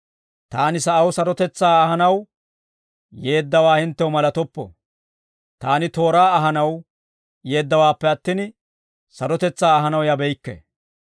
«Taani sa'aw sarotetsaa ahanaw yeeddawaa hinttew malatoppo; taani tooraa ahanaw yeeddawaappe attin, sarotetsaa ahanaw yabeykke.